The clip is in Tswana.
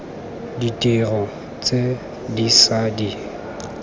ditiro tse di ša di